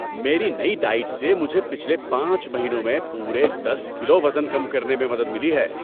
میری نئی ڈائٹ سے مجھے پچھلے پانچ مہینوں میں پورے دس کلو وزن کم کرنے میں مدد ملی ہے۔